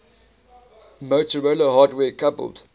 motorola hardware coupled